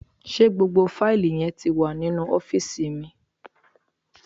Ṣé gbogbo fáìlì yẹn ti wà nínú ọ́fìsì mi?